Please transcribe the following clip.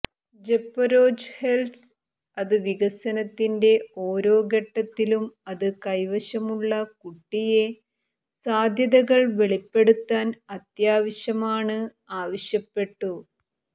ജപൊരൊജ്ഹെത്സ് അത് വികസനത്തിന്റെ ഓരോ ഘട്ടത്തിലും അത് കൈവശമുള്ള കുട്ടിയെ സാധ്യതകൾ വെളിപ്പെടുത്താൻ അത്യാവശ്യമാണ് ആവശ്യപ്പെട്ടു